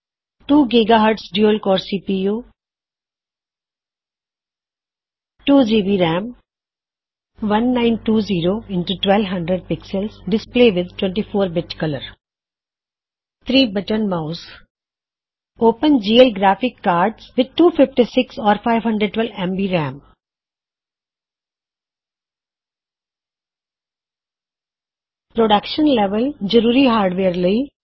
2 GHz dual core CPU 2 GB RAM 1920 x 1200 px display with 24 bit colour 3 button mouse open GL graphics card with 256 or 512 MB RAM production level ਜਰੂਰੀ hardware ਲਈ